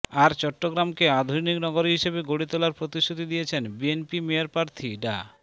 আর চট্টগ্রামকে আধুনিক নগরী হিসেবে গড়ে তোলার প্রতিশ্রুতি দিয়েছেন বিএনপি মেয়র প্রার্থী ডা